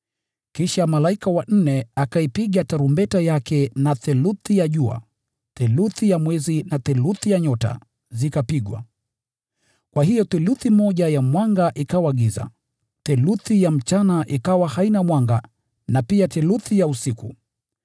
Kisha malaika wa nne akaipiga tarumbeta yake, na theluthi ya jua, theluthi ya mwezi na theluthi ya nyota zikapigwa. Kwa hiyo theluthi moja ya mwanga ikawa giza. Theluthi ya mchana ikawa haina mwanga na pia theluthi ya usiku.